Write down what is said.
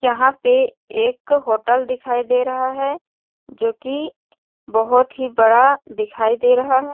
यहाँ पे एक होटल दिखाई दे रहा है जोकी बहोत ही बड़ा दिखाई दे रहा है ।